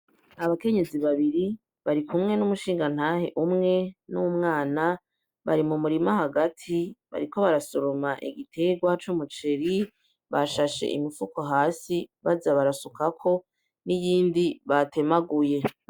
Abakenyezi babiri barikumwe n'umushingantahe umwe n'umwana bari mu murima hagati bariko barasoroma igiterwa c'umuceri, bashashe imifuko hasi baza barasukako n'iyindi batemaguye.